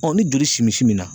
ni joli simi simi na.